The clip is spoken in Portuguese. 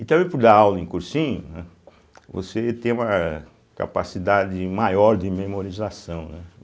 E também, por dar aula em cursinho, né, você tem uma capacidade maior de memorização, né.